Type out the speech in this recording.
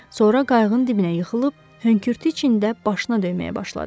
Sonra qayığın dibinə yıxılıb hönkürtü içində başına döyməyə başladı.